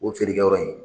O feerekɛyɔrɔ in